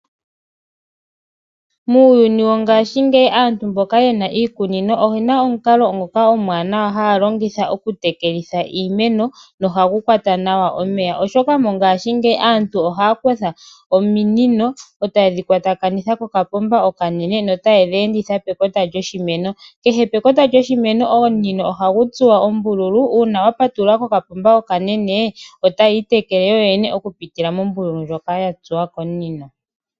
Muuyuni wongashingeyi aantu mboka ye na iikunino oye na omukalo ngoka omuwanawa haya longitha okutekela iimeno nohagu kwata nawa omeya, oshoka mongashingeyi aantu ohaya kutha ominino e taye dhi kwatakanitha kokapomba okanene notaye dhi enditha pekota lyoshimeno. Kehe pekota lyoshimeno omunino ohagu tsuwa ombululu nuuna wa patulula kokapomba okanene otayi itekele yoyene okupitila mombululu ndjoka ya tsuwa komunino.